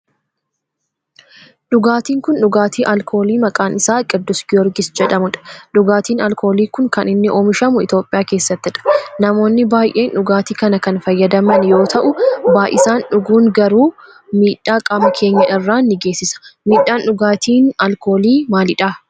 dhugaatin kun dhugaatii alkoolii maqaan isaa qiddus giyoorgis jedhamudha. dhugaatin alkoolii kun kan inni oomishamu Itiyoophiyaa keessattidha. namoonni baayyeen dhugaatii kana kan fayyadaman yoo ta'u baayisanii dhuguun garuu miidhaa qaama keenya irraan ni geessisa. midhaan dhugaatii alkoolii maalidhaa?